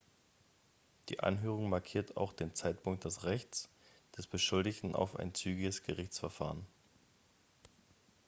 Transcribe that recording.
die anhörung markiert auch den zeitpunkt des rechts des beschuldigten auf ein zügiges gerichtsverfahren